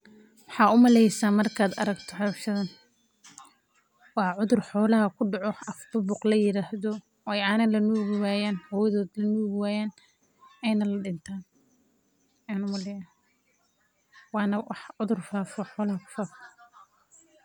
Waxaad umalesa marki aad aragto howshan waa cudur xolaha kudaco oo af buuq ladaho.